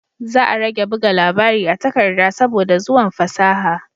Za a rage buga labari a takarda saboda zuwan fasaha